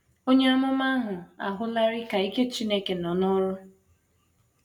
Onye amụma ahụ ahụlarị ka ike Chineke nọ n’ọrụ.